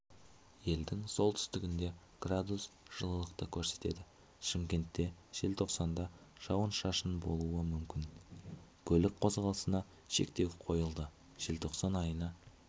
елдің оңтүстігінде градус жылықты көрсетеді шымкенте желтоқсанда жауын-шашын болуы мүмкін көлік қозғалысына шектеу қойылды желтоқсан айына